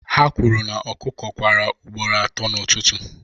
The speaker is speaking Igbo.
ha kwuru na ọkụkọ kwara ugboro atọ n'ụtụtụ